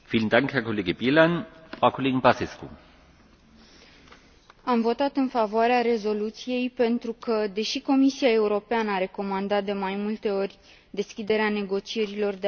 Am votat în favoarea rezoluției pentru că, deși Comisia Europeană a recomandat de mai multe ori deschiderea negocierilor de aderare cu FYROM, din păcate acest lucru nu s a întâmplat până în prezent.